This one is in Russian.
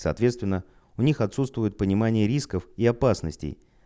соответственно у них отсутствует понимание рисков и опасностей